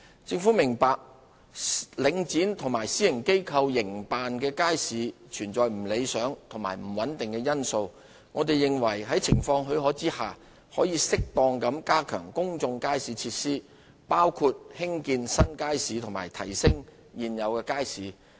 政府明白，領展和私營機構營辦的街市有不理想和不穩定的因素，我們認為在情況許可下，應適當地加強公眾街市設施，包括興建新街市及提升現有街市的質素。